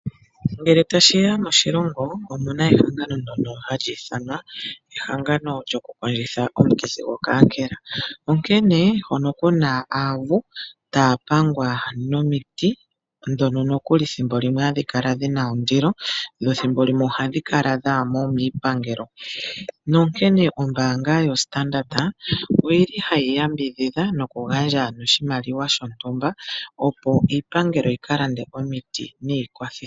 Ngele tashiya moshilongo omuna ehangano ndjono hali ithanwa ehangano lyoku kondjitha omukithi gwoKankela. Onkene hono kuna aavu taya pangwa nomiti dhono nokuli thimbo hadhi kala dhina ondilo dho thimbo limwe ohadhi kala dhaamo miipangelo. Nonkene ombanga yoStandard oyili hayi yambidhidha noku gandja oshimaliwa shontumba opo iipangelo yika lande omiiti niikwathi.